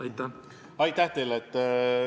Aitäh teile!